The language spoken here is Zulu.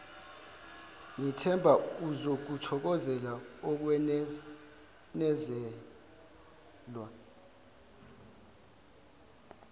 ngithemba uzokuthokozela ukwenezelwa